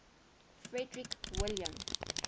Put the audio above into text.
frederick william